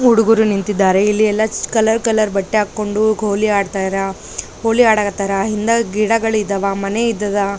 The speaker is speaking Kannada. ಉಡುಗರು ನಿಂತಿದ್ದಾರೆ ಇಲ್ಲಿ ಎಲ್ಲ ಸ್ ಕಲರ್ ಕಲರ್ ಬಟ್ಟೆ ಹಾಕೊಂಡು ಗೋಲಿ ಆಡ್ತಾರ ಹೋಲಿ ಆಡಕತ್ತಾರ ಹಿಂದ ಗಿಡಗಳಿದ್ದಾವ ಮನೆ ಇದ್ದದ್ದ --